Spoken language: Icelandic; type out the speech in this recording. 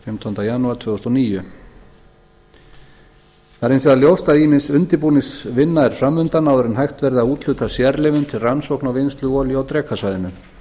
fimmtánda janúar tvö þúsund og níu það er hins vegar ljóst að ýmis undirbúningsvinna er framundan áður en hægt verður að úthluta sérleyfum til rannsókna til rannsókna á vinnslu olíu á drekasvæðinu